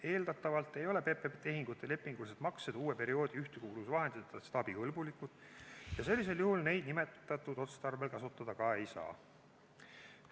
Eeldatavalt ei ole PPP-tehingute lepingulised maksed uue perioodi ühtekuuluvusvahenditest abikõlbulikud ja sellisel juhul neid nimetatud otstarbel kasutada ka ei saa.